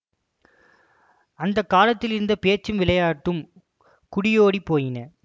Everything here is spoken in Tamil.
அந்த காலத்திலிருந்த பேச்சும் விளையாட்டும் குடியோடிப் போயின